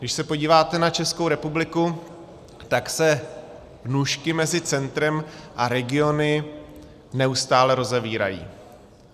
Když se podíváte na Českou republiku, tak se nůžky mezi centrem a regiony neustále rozevírají.